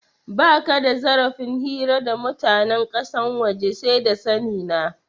Baka da zarafin hira da mutanen kasan waje, sai da sani na.